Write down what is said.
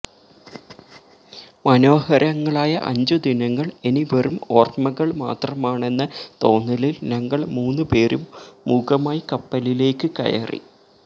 മനോഹരങ്ങളായ അഞ്ചു ദിനങ്ങള് ഇനി വെറും ഓര്മ്മകള് മാത്രമാണെന്ന തോന്നലില് ഞങ്ങള് മൂന്നുപേരും മൂകമായി കപ്പലിലേക്ക് കയറി